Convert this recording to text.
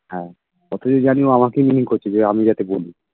হ্যাঁ যতদূর জানি ও আমাকেই mean করছে যে আমি যাতে বলি